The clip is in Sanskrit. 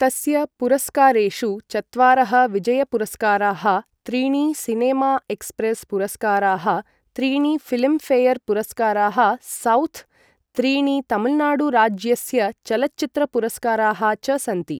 तस्य पुरस्कारेषु चत्वारः विजयपुरस्काराः, त्रीणि सिनेमा एक्स्प्रेस् पुरस्काराः, त्रीणि फिल्मफेयर पुरस्काराः साउथ्, त्रीणि तमिलनाडुराज्यस्य चलच्चित्रपुरस्काराः च सन्ति ।